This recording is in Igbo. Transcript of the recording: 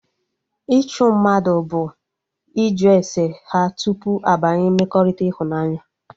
Ịchụ mmadụ bụ ịjụ ese ha tupu abanye mmekọrịta ịhụnanya